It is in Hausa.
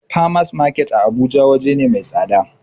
Farmers market a abuja waje na mai tsada